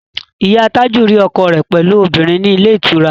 Ìyá Tájù rí ọkọ rẹ̀ pẹ̀lú obìnrin ní ilé ìtura